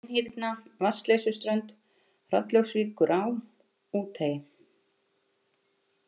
Tinhyrna, Vatnsleysuströnd, Hrollaugsvíkurá, Úthagi